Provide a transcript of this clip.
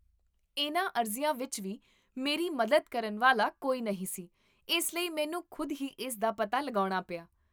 ਇਹਨਾਂ ਅਰਜ਼ੀਆਂ ਵਿੱਚ ਵੀ ਮੇਰੀ ਮੱਦਦ ਕਰਨ ਵਾਲਾ ਕੋਈ ਨਹੀਂ ਸੀ, ਇਸ ਲਈ ਮੈਨੂੰ ਖੁਦ ਹੀ ਇਸਦਾ ਪਤਾ ਲਗਾਉਣਾ ਪਿਆ